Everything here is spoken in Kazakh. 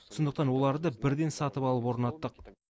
сондықтан оларды бірден сатып алып орнаттық